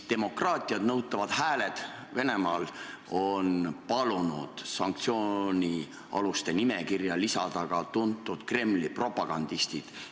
Demokraatiat nõutavad hääled Venemaal on palunud sanktsioonialuste nimekirja lisada ka tuntud Kremli propagandistid.